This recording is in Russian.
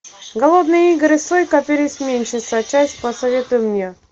голодные игры сойка пересмешница часть посоветуй мне